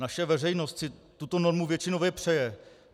Naše veřejnost si tuto normu většinově přeje.